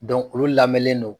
olu lamɛlen don